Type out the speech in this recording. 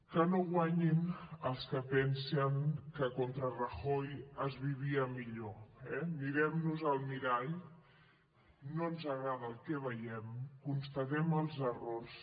que no guanyin els que pensen que contra rajoy es vivia millor eh mirem nos al mirall no ens agrada el que veiem constatem els errors